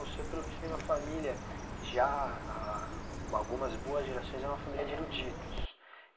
O senhor, pelo visto, vem de uma família que já há algumas boas gerações era uma família de eruditos.